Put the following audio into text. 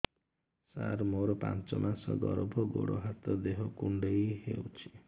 ସାର ମୋର ପାଞ୍ଚ ମାସ ଗର୍ଭ ଗୋଡ ହାତ ଦେହ କୁଣ୍ଡେଇ ହେଉଛି